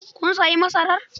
Kun sayi masarar?